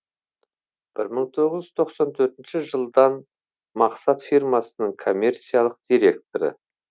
бір мың тоғыз жүз тоқсан төртінші жылдан мақсат фирмасының коммерциялық директоры